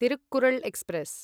Thirukkural express